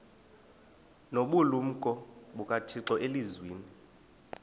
nobulumko bukathixo elizwini